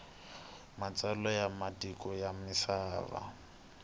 matsalwa ya matiko ya misava